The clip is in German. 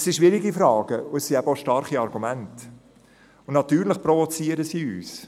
Es sind schwierige Fragen, aber eben auch starke Argumente – und natürlich provozieren sie uns.